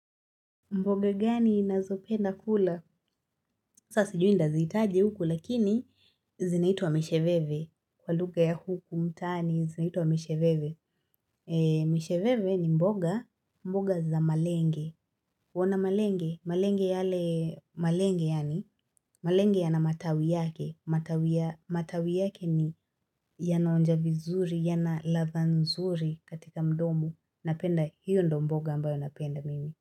Mboga gani ninazopenda kula? Sa sijui nitaziitaje huku lakini zinaitwa misheveve. Kwa lugha ya huku mtaani zinaitwa misheveve. Misheveve ni mboga. Mboga za malenge. Waona malenge. Malenge yale. Malenge yaani. Malenge yana matawi yake. Matawi yake ni yanaonja vizuri. Yana ladha nzuri katika mdomo. Napenda hiyo ndo mboga ambayo napenda mimi.